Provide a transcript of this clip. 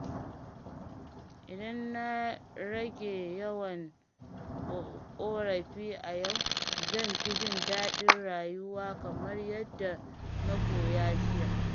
Idan na rage yawan ƙorafi a yau, zan fi jin daɗin rayuwa kamar yadda na koya jiya.